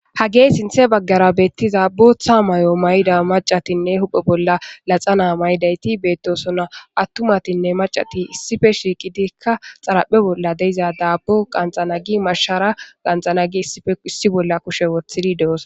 Hage sinte baggera bettiza booththa maayo mayida maccatinne huuphe bolla laxana maayidayti beetosona attumatinne maccati issippe shiiqidikka xaraphe bolla de'iza daabbo qanxxana gi mashshara qanxxana gi issippe issi bolla kushe wothidi de'osona